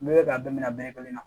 N'i bɛ k'a bɛɛ minɛ a bɛɛ kelen na